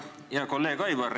Hea kolleeg Aivar!